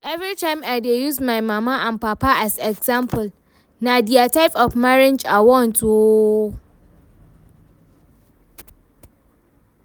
Everytime I dey use my mama and papa as example, na dia type of marriage I want oo